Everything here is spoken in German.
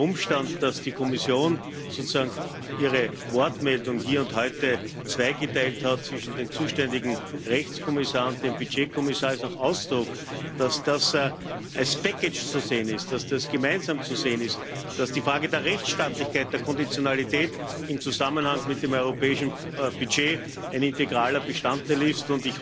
Der Umstand, dass die Kommission sozusagen ihre Wortmeldung hier und heute zwischen dem zuständigen Rechtskommissar und dem Budgetkommissar zweigeteilt hat, ist auch Ausdruck, dass das als Package zu sehen ist, dass das gemeinsam zu sehen ist, dass die Frage der Rechtsstaatlichkeit, der Konditionalität in Zusammenhang mit dem europäischen Budget ein integraler Bestandteil ist.